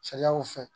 Sariyaw fɛ